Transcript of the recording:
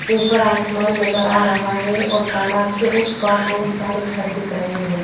ऊपर आसमान नज़र आ रहा है और तालाब के उस पार बहुत सारे घर दिख रहे हैं।